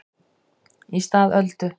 Í stað Öldu